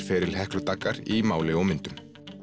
feril Heklu Daggar í máli og myndum